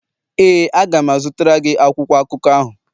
ee, a ga m azụtara gị akwụkwọ akụkọ ahụ.